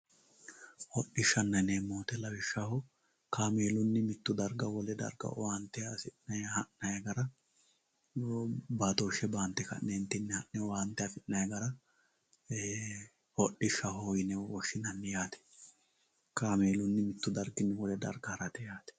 hodhishshaanna yineemmo woyiite lawishshaho kaameelunni mitto darga owaante aa hasi'ne ha'nay gara baatooshshe baante ka'neentinni ha'ne owaante afi'nanni gara hodhishshaho yine woshshinanni yaate kaameelunni mittu darginni wole darga harate yaate.